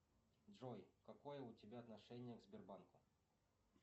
джой какое у тебя отношение к сбербанку